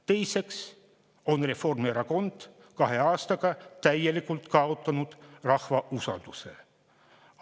Teiseks on Reformierakond kahe aastaga täielikult kaotanud rahva usalduse.